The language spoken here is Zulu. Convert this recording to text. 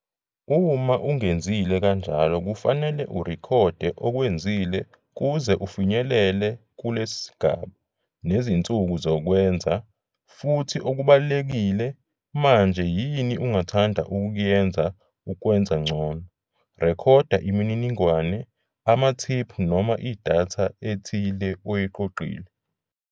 Uma ungenzile kanjalo kufanele urekhode okwenzile kuze ufinyelele kule sigaba, nezinsuku zokwenza, futhi okubalulekile, manje yini ungathanda ukuyenza ukwenza ngcono. Rekhoda imininingwane, amathiphu noma idatha ethile oyiqoqile.